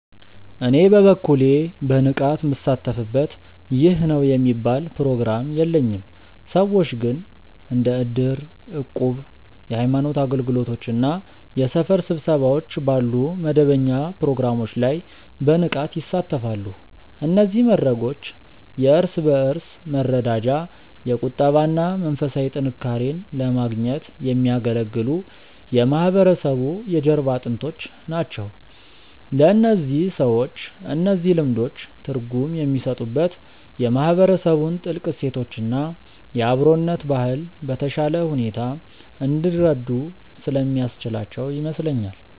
እኔ በበኩሌ በንቃት ምሳተፍበት ይህ ነው የሚባል ፕሮግራም የለኝም። ሰዎች ግን እንደ እድር፣ እቁብ፣ የሃይማኖት አገልግሎቶች እና የሰፈር ስብሰባዎች ባሉ መደበኛ ፕሮግራሞች ላይ በንቃት ይሳተፋሉ። እነዚህ መድረኮች የእርስ በእርስ መረዳጃ፣ የቁጠባ እና መንፈሳዊ ጥንካሬን ለማግኘት የሚያገለግሉ የማህበረሰቡ የጀርባ አጥንቶች ናቸው። ለእነዚህ ሰዎች እነዚህ ልምዶች ትርጉም የሚሰጡት የማህበረሰቡን ጥልቅ እሴቶች እና የአብሮነት ባህል በተሻለ ሁኔታ እንዲረዱ ስለሚያስችላቸው ይመስለኛል።